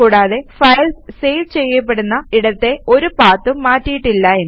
കൂടാതെ files save ചെയ്യപ്പെടുന്ന ഇടത്തെ ഒരു പാത്തും മാറ്റിയിട്ടില്ല എന്നും